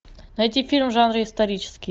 найти фильм в жанре исторический